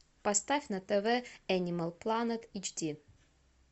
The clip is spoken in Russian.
поставь на тв энимал планет эйч ди